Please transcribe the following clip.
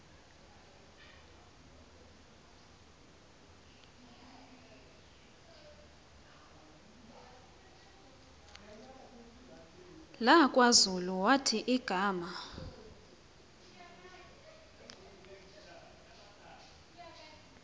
lakwazulu wathi igama